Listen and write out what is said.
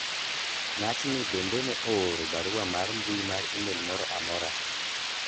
ng'atni bende ne ooro barua mar mbui mar email moro amora